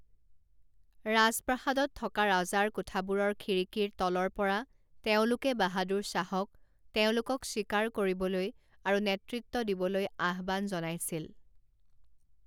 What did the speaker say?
ৰাজপ্ৰাসাদত থকা ৰজাৰ কোঠাবোৰৰ খিৰিকীৰ তলৰ পৰা তেওঁলোকে বাহাদুৰ শ্বাহক তেওঁলোকক স্বীকাৰ কৰিবলৈ আৰু নেতৃত্ব দিবলৈ আহ্বান জনাইছিল।